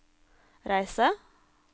reise